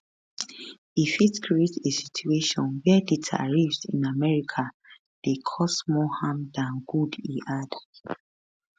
e fit create a situation wia di tariffs in america dey cause more harm dan good e add